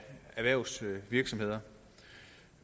erhvervsvirksomheder